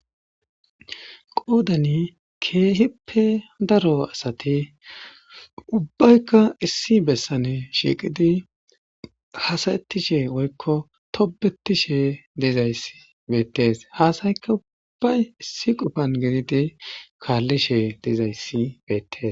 Qoodani keehippe cora asati ubbayka issi besani shiiqidi hasa'etishe woyko tobetishe dizaysi beetesi, ha sayka ubayi issi qopan gididi kaalishe dizaysi beetesi.